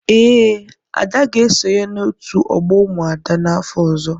Ee, Ada ga-esonye na otu ogbo umuada n'afọ ọzọ.